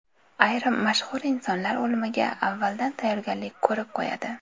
Ayrim mashhur insonlar o‘limiga avvaldan tayyorgarlik ko‘rib qo‘yadi.